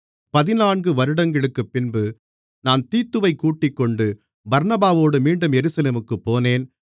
பதினான்கு வருடங்களுக்குப்பின்பு நான் தீத்துவைக் கூட்டிக்கொண்டு பர்னபாவோடு மீண்டும் எருசலேமுக்குப் போனேன்